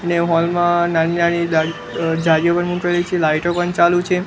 ને હોલ મા નાની નાની દાળી અહ જારીઓ પણ મૂકેલી છે લાઈટો પણ ચાલુ છે.